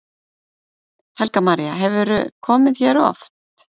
Helga María: Hefurðu komið hérna oft?